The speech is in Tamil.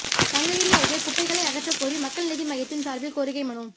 சங்ககிரி அருகே குப்பைகளை அகற்றக் கோரி மக்கள் நீதி மய்யத்தின் சார்பில் கோரிக்கை மனு